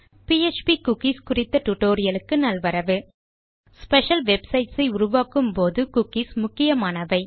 PHP cookies குறித்த டுடோரியலுக்கு நல்வரவு ஸ்பெஷல் வெப்சைட்ஸ் ஐ உருவாக்கும் போது குக்கீஸ் முக்கியமானவை